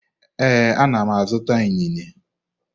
Ee, ana m azụta inine.